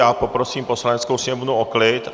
Já poprosím Poslaneckou sněmovnu o klid.